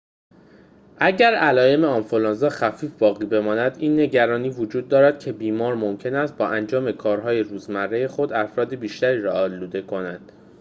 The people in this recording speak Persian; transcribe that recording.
اگر علائم آنفلوانزا خفیف باقی بماند این نگرانی وجود دارد که بیماران ممکن است با انجام کارهای روزمره خود افراد بیشتری را آلوده کنند